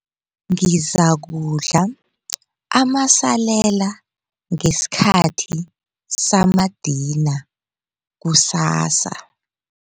Ngizakudla amasalela ngesikhathi samadina kusasa.